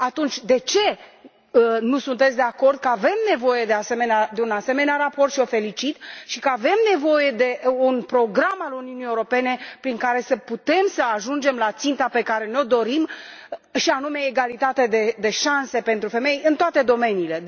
Atunci de ce nu sunteți de acord că avem nevoie de un asemenea raport și o felicit și că avem nevoie de un program al Uniunii Europene prin care să putem să ajungem la ținta pe care ne o dorim și anume egalitate de șanse pentru femei în toate domeniile.